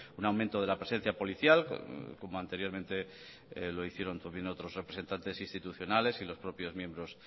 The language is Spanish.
un aumento de la presencia policial como anteriormente lo hicieron también otros representantes institucionales y los propios miembros